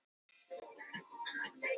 Slík niðurstaða samrýmist sennilega ekki